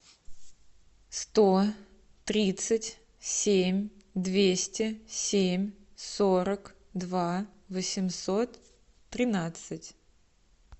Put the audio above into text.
сто тридцать семь двести семь сорок два восемьсот тринадцать